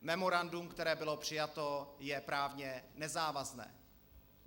Memorandum, které bylo přijato, je právně nezávazné.